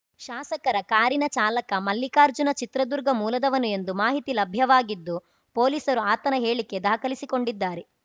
ಶಾಸಕರ ಕಾರಿನ ಚಾಲಕ ಮಲ್ಲಿಕಾರ್ಜುನ ಚಿತ್ರದುರ್ಗ ಮೂಲದವನು ಎಂಬ ಮಾಹಿತಿ ಲಭ್ಯವಾಗಿದ್ದು ಪೊಲೀಸರು ಆತನ ಹೇಳಿಕೆ ದಾಖಲಿಸಿಕೊಂಡಿದ್ದಾರೆ